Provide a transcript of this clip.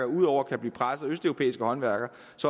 ud over at blive presset af østeuropæiske håndværkere